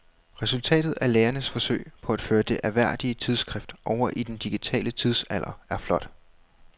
Resultatet af lægernes forsøg på at føre det ærværdige tidsskrift over i den digitale tidsalder er flot.